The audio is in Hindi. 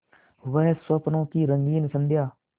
वह स्वप्नों की रंगीन संध्या